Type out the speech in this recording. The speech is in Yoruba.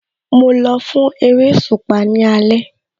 Mo lọ fún eréṣùpá ní alẹ́